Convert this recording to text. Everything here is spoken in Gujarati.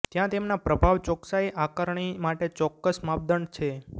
ત્યાં તેમના પ્રભાવ ચોકસાઈ આકારણી માટે ચોક્કસ માપદંડ છે